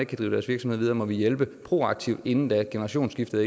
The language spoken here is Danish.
kan drive deres virksomhed videre må vi hjælpe proaktivt inden da generationsskiftet